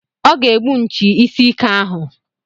Ọ ga-egbu nchi isi ike ahụ.